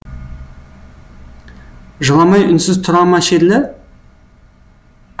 жыламай үнсіз тұра ма шерлі